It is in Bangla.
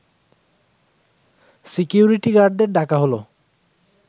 সিকিউরিটি গার্ডদের ডাকা হলো